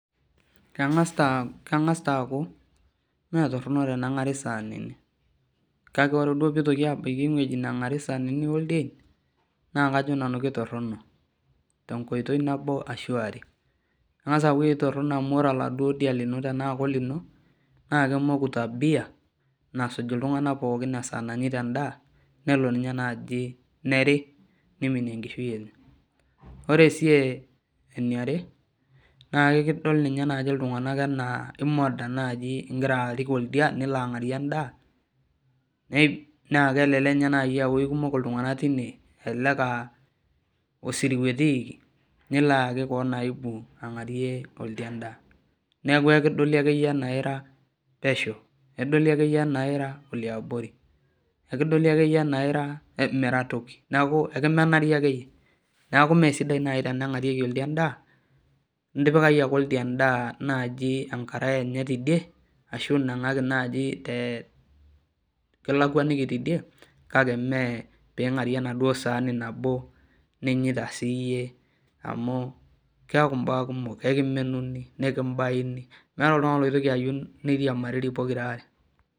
Kengas taaku metoronok tenengari saanini kaka ore pee ebaiki eweji negari saanini oldieni naa kajo nanu kitoronok tenkoitoi nabo ashu are ,kengas aaku toronok amu ore oladuo dia tena kolino naa kemoku tabia nasuj iltunganak pookin teneeku kenyita endaa nelo ninye naaji neeri neiminie enkishui enye ,ore sii eniare naa ekidol ninye naaji iltunganak ena imoda tenirik oldia nilo angarie endaa na kelelek ninye naaji aa keikumok iltunganak tine ,elelek aa osiruwa etiiki nilo ayaki koon aibu angarie oldia endaa neeku ekidoli ake ieyie ena ira pesho ,nira iloabori nimira toki neeku ekimenari ake yie neeku mesidai naaji teningarie oldia endaa ,ipikaki ake endaa enye enkare ashu inangaki kilakwaniki tidie kake mee piingarie enaduo saani nabo ninyita siiyie amu keeku mbaa kukom nkimbayuni meeta oltungani oitoki ayieu niriamariri.